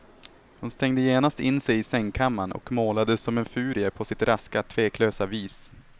Hon stängde genast in sig i sängkammaren och målade som en furie på sitt raska, tveklösa vis.